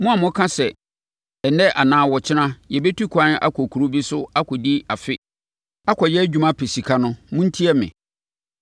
Mo a moka sɛ, “Ɛnnɛ anaa ɔkyena yɛbɛtu kwan akɔ kuro bi so akɔdi afe akɔyɛ adwuma, apɛ sika” no, montie me.